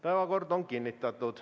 Päevakord on kinnitatud.